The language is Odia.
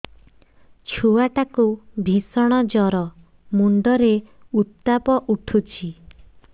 ଛୁଆ ଟା କୁ ଭିଷଣ ଜର ମୁଣ୍ଡ ରେ ଉତ୍ତାପ ଉଠୁଛି